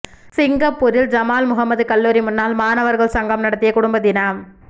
சிங்கப்பூரில் ஜமால் முஹம்மது கல்லூரி முன்னாள் மாணவர்கள் சங்கம் நடத்திய குடும்ப தினம்